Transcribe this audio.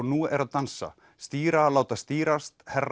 nú er að dansa stýra láta stýrast herra